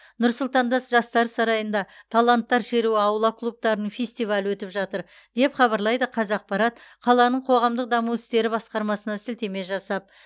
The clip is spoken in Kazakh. нұр сұлтанда с жастар сарайында таланттар шеруі аула клубтарының фестивалі өтіп жатыр деп хабарлайды қазақпарат қаланың қоғамдық даму істері басқармасына сілтеме жасап